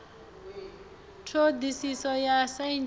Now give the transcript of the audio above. ṱho ḓisiso ya saintsi ya